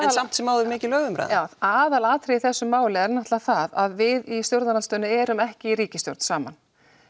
en samt sem áður mikilvæg umræða aðalatriðið í þessu máli er náttúrulega það að við í stjórnarandstöðunni erum ekki í ríkisstjórn saman